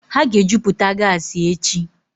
Ha ga-ejuputa gasi echi.